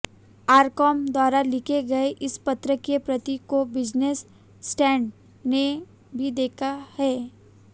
RCom द्वारा लिखे गए इस पत्र की प्रति को बिजनेस स्टैंडर्ड ने भी देखा है